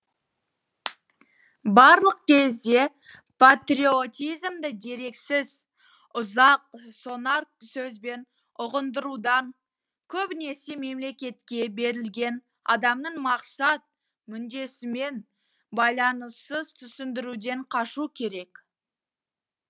барлық кезде патриотизмді дерексіз ұзақ сонар сөзбен ұғындырудан көбінесе мемлекетке берілген адамның мақсат мүддесімен байланыссыз түсіндіруден қашу керек